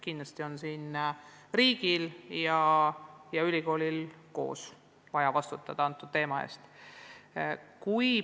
Kindlasti on riigil ja ülikoolil koos vaja vastutada selle koolituse eest.